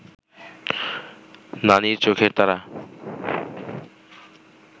নানির চোখের তারা